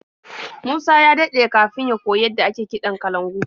Musa ya daɗe kafin ya koyi yadda ake kiɗan kalangu.